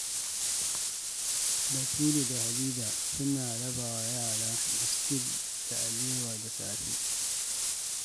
Batulu da Hadiza suna raba wa yara biskit da alewa da safe.